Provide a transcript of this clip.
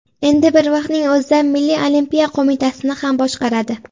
Endi bir vaqtning o‘zida Milliy olimpiya qo‘mitasini ham boshqaradi.